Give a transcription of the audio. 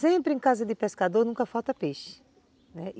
Sempre em casa de pescador nunca falta peixe, né.